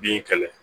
Bin kɛlɛ